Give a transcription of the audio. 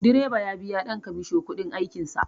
Direba ya biya ɗan kamasho kuɗin aikin sa